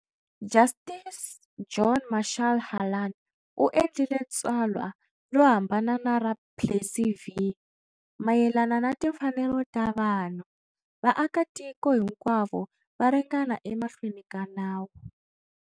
"Justice John Marshall Harlan" u endlile tsalwa ro hambana na ra"Plessy v. Mayelana na timfanelo ta vanhu, vaaka-tiko hinkwavo va ringana emahlweni ka nawu.